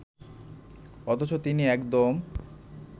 অথচ তিনি একদম